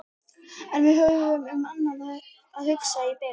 En við höfðum um annað að hugsa í bili.